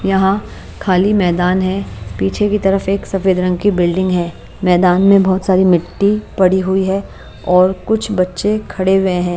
यहां खाली मैदान है पीछे की तरफ एक सफेद रंग की बिल्डिंग है मैदान में बहोत सारी मिट्टी पड़ी हुई है और कुछ बच्चे खड़े हुए हैं।